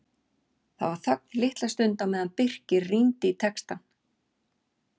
Það var þögn litla stund á meðan Birkir rýndi í textann.